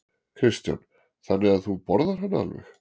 Kristján: Þannig að þú borðar hana alveg?